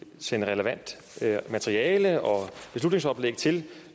sende relevant materiale og beslutningsoplæg til